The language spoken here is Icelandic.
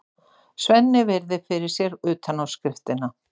Svenni virðir fyrir sér utanáskriftina.